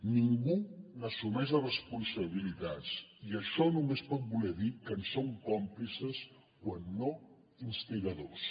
ningú n’assumeix les responsabilitats i això només pot voler dir que en són còmplices quan no instigadors